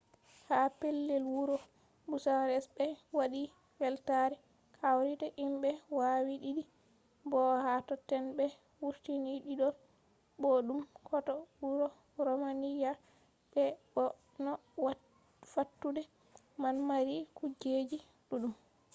ha pellel wuro bucharest ɓe waɗi weltare kawrita himɓe waawi diidi bo ha totton ɓe wurtini didol boɗɗum hoto wuro romeniya be bo no fattude man mari kujeji ɗuɗɗum